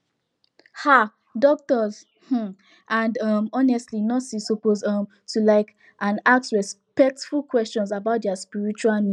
um doctors um and um honestly nurses suppose um to like and ask respectful questions about dia spiritual needs